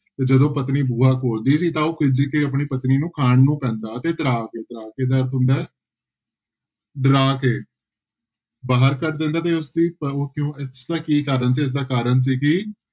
ਤੇ ਜਦੋਂ ਪਤਨੀ ਬੂਹਾ ਖੋਲਦੀ ਸੀ ਤਾਂ ਉਹ ਖਿਝ ਕੇ ਆਪਣੀ ਪਤਨੀ ਨੂੂੰ ਖਾਣ ਨੂੰ ਪੈਂਦਾ ਤੇ ਤ੍ਰਾਹ ਕੇ ਤ੍ਰਾਹ ਕੇ ਦਾ ਅਰਥ ਹੁੰਦਾ ਹੈ ਡਰਾ ਕੇ ਬਾਹਰ ਕੱਢ ਦਿੰਦਾ ਤੇ ਉਸਦੀ ਉਹ ਕਿਉਂ ਇਸਦਾ ਕੀ ਕਾਰਨ ਸੀ, ਇਸਦਾ ਕਾਰਨ ਸੀ ਕਿ